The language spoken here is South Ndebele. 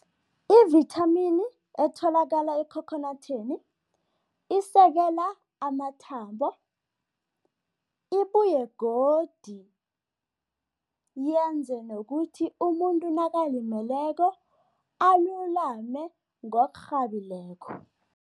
Ivithamini etholakala ekhokhonathini isekela amathambo, ibuye godi yenze nokuthi umuntu nakalimeleko alulame ngokurhabileko.